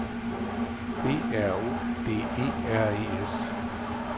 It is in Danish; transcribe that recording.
B R O D E R E S